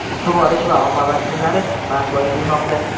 sug‘orish va oqova tizimlari barpo etilmoqda.